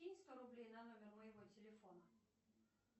кинь сто рублей на номер моего телефона